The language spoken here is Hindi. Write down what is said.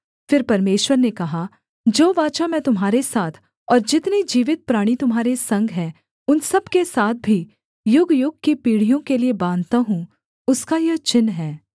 फिर परमेश्वर ने कहा जो वाचा मैं तुम्हारे साथ और जितने जीवित प्राणी तुम्हारे संग हैं उन सब के साथ भी युगयुग की पीढ़ियों के लिये बाँधता हूँ उसका यह चिन्ह है